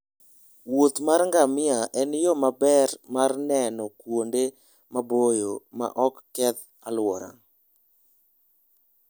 Wuoth mar ngamia en yo maber mar neno kuonde maboyo maok keth alwora.